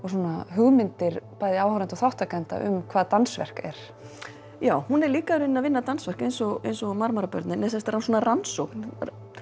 hugmyndir áhorfenda um hvað dansverk er já hún er líka í rauninni að vinna dansverk eins og eins og Marmarabörnin svona rannsókn